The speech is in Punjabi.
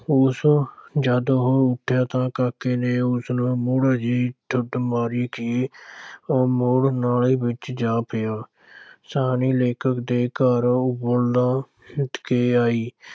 ਉਸ ਜਦ ਉਹ ਉੱਠਿਆ ਤਾਂ ਕਾਕੇ ਨੇ ਉਸ ਨੂੰ ਮੁੜ ਅਜਿਹੀ ਢੁੱਡ ਮਾਰੀ ਕਿ ਉਹ ਮੁੜ ਨਾਲੀ ਵਿੱਚ ਜਾ ਪਿਆ ਸ਼ਾਹਣੀ ਲੇਖਕ ਦੇ ਘਰ ਕੇ ਆਈ।